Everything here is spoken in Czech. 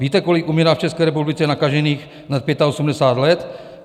Víte, kolik umírá v České republice nakažených nad 85 let?